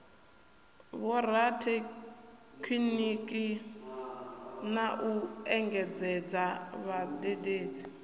vhorathekhiniki na u engedzadza vhadededzi